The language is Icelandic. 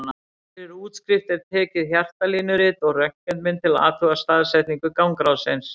Fyrir útskrift er tekið hjartalínurit og röntgenmynd til að athuga staðsetningu gangráðsins.